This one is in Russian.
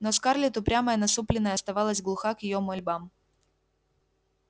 но скарлетт упрямая насупленная оставалась глуха к её мольбам